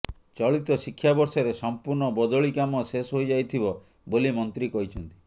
ଚଳିତ ଶିକ୍ଷାବର୍ଷରେ ସମ୍ପୂର୍ଣ୍ଣ ବଦଳି କାମ ଶେଷ ହୋଇଯାଇଥିବ ବୋଲି ମନ୍ତ୍ରୀ କହିଛନ୍ତି